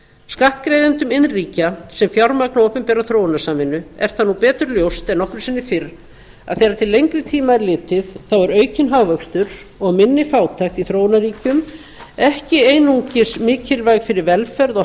skattgreiðendum iðnríkja sem fjármagna opinbera þróunarsamvinnu er það nú betur ljóst en nokkru sinni fyrr að þegar til lengri tíma er litið er aukinn hagvöxtur og minni fátækt í þróunarríkjum ekki einungis mikilvæg fyrir velferð og